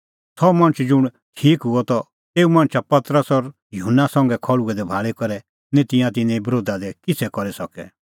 सह मणछ ज़ुंण ठीक हुअ त तेऊ मणछा पतरस और युहन्ना संघै खल़्हुऐ दै भाल़ी करै निं तिंयां तिन्नें बरोधा दी किछ़ै करी सकै